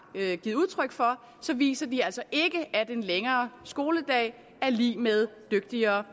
givet udtryk for viser de altså ikke at en længere skoledag er lig med dygtigere